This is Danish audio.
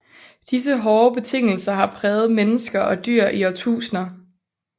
Disse hårde betingelser har præget mennesker og dyr i årtusinder